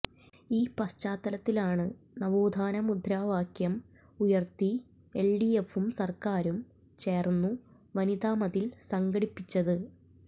ഈ പശ്ചാത്തലത്തിലാണ് നവോത്ഥാന മുദ്രാവാക്യം ഉയർത്തി എൽഡിഎഫും സർക്കാരും ചേർന്നു വനിതാ മതിൽ സംഘടിപ്പിച്ചത്